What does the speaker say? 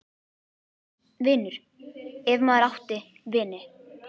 . vinur, ef maður átti vini.